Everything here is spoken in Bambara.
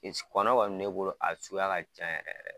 Kɔni bɛ ne bolo, a suguya ka caa yɛrɛ de.